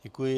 Děkuji.